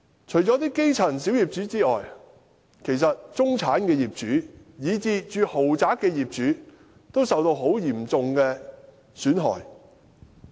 除了基層小業主之外，其實中產業主，以至住在豪宅的業主，亦蒙受嚴重的損失。